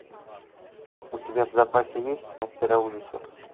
у тебя в запасе есть мастера ужасов